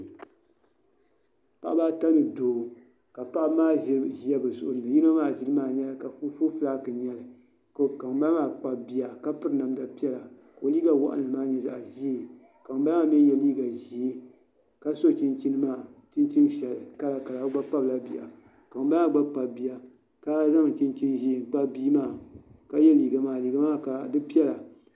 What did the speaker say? Paɣaba ata ni Doo ka paɣaba maa ʒiri ʒiya bi zuɣuri ni yino maa ʒili maa nyɛla kɔpu fulas n nyɛli ka ŋunbala maa kpabi bia ka piri namda piɛla ka o liiga waɣanli maa nyɛ zaɣ ʒiɛ ka ŋunbala maa mii yɛ liiga ʒiɛ ka so chinchin kala kala o gba kpabila bia ka ŋunbala maa gba kpabi bia ka zaŋ chinchin ʒiɛ n kpabi bia maa ka yɛ liiga maa ka liiga maa piɛla